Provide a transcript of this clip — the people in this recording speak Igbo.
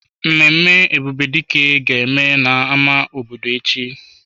Mmemme Ebubedike ga-eme na-ama obodo echi.